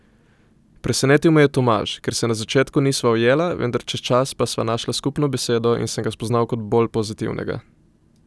Presenetil me je Tomaž, ker se na začetku nisva ujela, vendar čez čas pa sva našla skupno besedo in sem ga spoznal kot bolj pozitivnega.